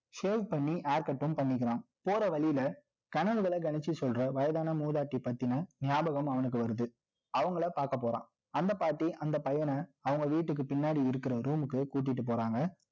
Shave பண்ணி haircut ம் பண்ணிக்கிறான். போற வழியில, கனவுகளை கணிச்சு சொல்ற, வயதான மூதாட்டி பத்தின, ஞாபகம் அவனுக்கு வருது. அவங்களை பார்க்க போறான். அந்த பாட்டி, அந்த பையன, அவங்க வீட்டுக்கு பின்னாடி இருக்கிற room க்கு கூட்டிட்டு போறாங்க